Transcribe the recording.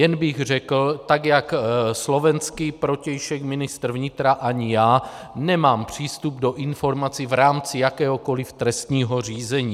Jen bych řekl, tak jak slovenský protějšek ministr vnitra, ani já nemám přístup do informací v rámci jakéhokoli trestního řízení.